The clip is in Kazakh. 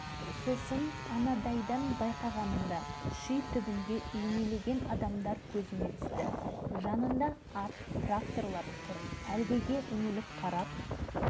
бірдеңе болып қалды ма деп қастарына келсем дәл орталарында ұзындығы үш-төрт метрдей ені бір метрдей жуан үлкен бөшке